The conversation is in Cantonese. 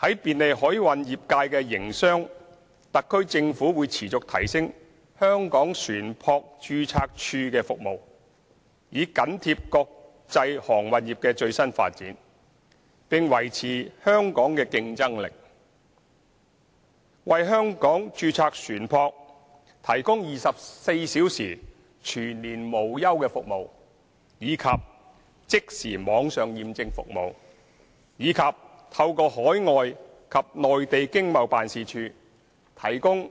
在便利海運業界營商方面，特區政府會持續提升香港船舶註冊處的服務，以緊貼國際航運業的最新發展，並維持香港的競爭力，為香港註冊船舶，提供24小時全年無休的服務、即時網上認證服務，以及透過海外和內地經貿辦事處提供